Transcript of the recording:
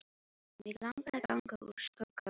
Mig langar að ganga úr skugga um það.